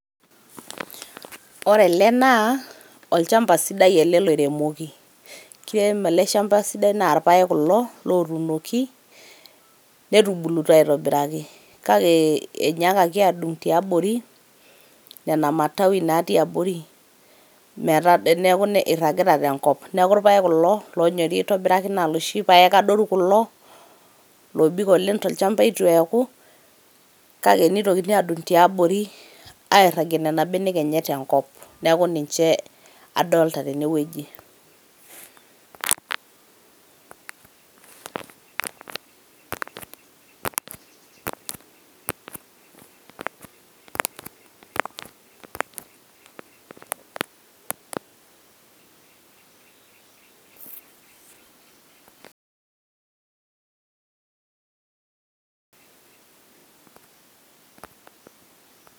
Ore ele naa olchamba ele sidai loiremoki .kiremo ele shamba esidai naa irpaek kulo otunoki netubulutua aitobiraki . kake enyaakaki adung tiabori nena matawi natii abori metaa nn iragita te nkop .niaku irpaek kulo lonyori aitobiraki naa loshi adoru kulo lobik tolchamba itu eaku kake nitokini adung tiabori airagie nena benek enye tenkop .niaku niche adolta tene wueji .